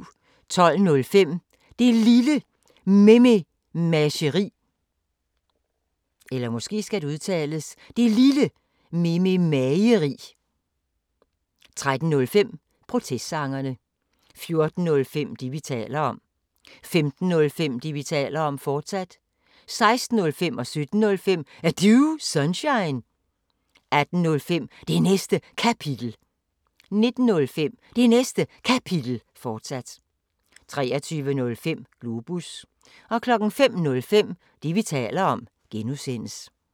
12:05: Det Lille Mememageri 13:05: Protestsangerne 14:05: Det, vi taler om 15:05: Det, vi taler om, fortsat 16:05: Er Du Sunshine? 17:05: Er Du Sunshine? 18:05: Det Næste Kapitel 19:05: Det Næste Kapitel, fortsat 23:05: Globus 05:05: Det, vi taler om (G)